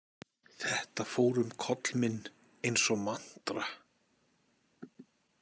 Þetta fór um koll minn eins og mantra.